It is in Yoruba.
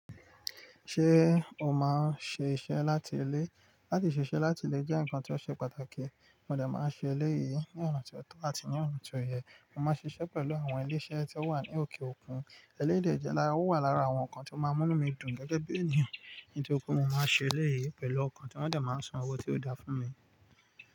Ṣé o máa ń ṣe iṣẹ́ láti ilé? Láti ṣiṣẹ́ láti ilé jẹ́ ǹnkan tí ó ṣe pàtàkì, mo dè máa ń ṣe eléyìí ní ọ̀nà tí ó tọ́ àti ní ọ̀nà tí ó yẹ. Mo máa n ṣiṣẹ́ pẹ̀lú àwọn ilé-iṣẹ́ tí ó wà ní òkè òkun, eléyii de jẹ́ lára, ó wà lára àwọn ǹkan tí ó máa ń mú mí dùn gẹ́gẹ́ bí ènìyàn. Nítorí pé mo máa n ṣẹ eléyìí pẹ̀lú ọkàn tí wọ́n dẹ máa ń san owó tí ó da fún mi.